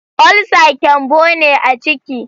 ulsa kyanbo ne a ciki